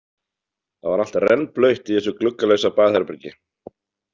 Það var allt rennblautt í þessu gluggalausa baðherbergi.